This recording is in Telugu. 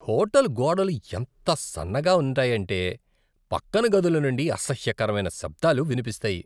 హోటల్ గోడలు ఎంత సన్నగా ఉంటాయంటే, పక్కన గదుల నుండి అసహ్యకరమైన శబ్దాలు వినిపిస్తాయి.